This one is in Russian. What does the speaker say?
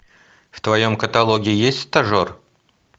в твоем каталоге есть стажер